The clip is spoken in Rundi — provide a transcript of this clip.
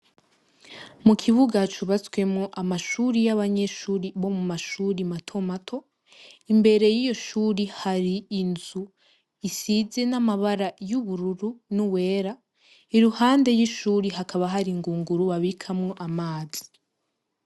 Mukibuga cubatsemwo amashure y'abanyeshure bo mu mashuri mato mato, imbere yiyo shuri har'inzu isize n'amabara y'ubururu, n'uwera iruhande y'ishure hakaba hari ingunguru babikamwo amazi.